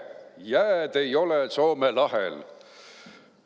Jääd ei ole Soome lahel.